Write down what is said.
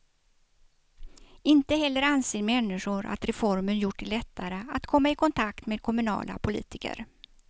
Inte heller anser människor att reformen gjort det lättare att komma i kontakt med kommunala politiker.